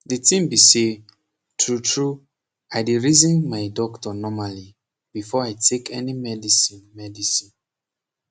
the tin be say tru tru i dey reason my doctor normally before take any medicine medicine